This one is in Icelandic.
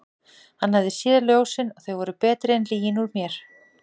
Hann hafði séð ljósin og þau voru betri en lygin úr mér.